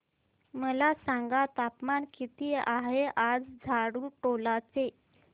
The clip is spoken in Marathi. मला सांगा तापमान किती आहे आज झाडुटोला चे